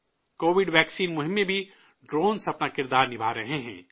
Covid vaccine مہم میں بھی ڈرون اپنا رول نبھا رہے ہیں